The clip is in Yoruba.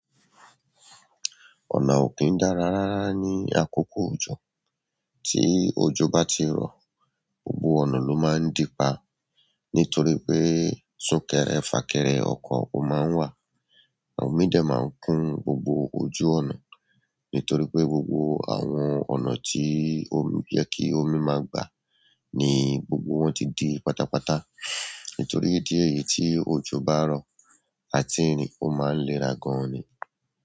Ọ̀nà ò kí ń dára rárá ní àkókò òjò, tí òjò bá ti rọ̀, gbogbo ọ̀nà ló máa ń di pa nítorí pé súnkẹrẹ-fàkẹrẹ ọkọ̀ ò máa ń wà, à omí de máa ń kún gbogbo ojú ọ̀nà, nítorí pé gbogbo àwọn ọ̀nà tí omi yẹ kí omi máa gbà ni gbogbo wọn ti di pátápátá nítorí idí ẹ̀yi tí òjò bá rọ̀, àti rìn ò máa ń léra gan ni.